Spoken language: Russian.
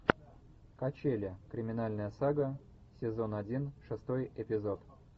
качели криминальная сага сезон один шестой эпизод